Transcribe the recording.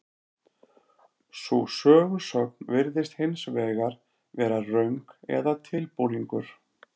Sú sögusögn virðist hins vegar vera röng eða tilbúningur.